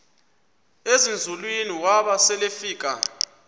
ezinzulwini waba selefika